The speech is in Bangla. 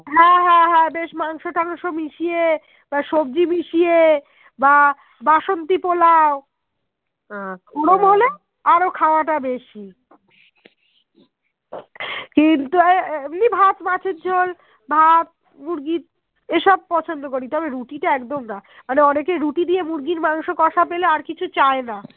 এমনি ভাত মাছের ঝোল ভাত মুরগির এসব পছন্দ করি তবে রুটি তা একদম না মানে অনেকে রুটি দিয়ে মুরগির মাংস কশা পেলে আর কিছু চায়না